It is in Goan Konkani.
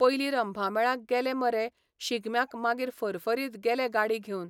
पयलीं रंभामेळाक गेले मरे शिगम्याक मागीर फरफरीत गेले गाडी घेवन.